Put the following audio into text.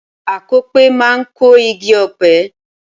Akọ̀pẹ máa kọ igi ọ̀pẹ.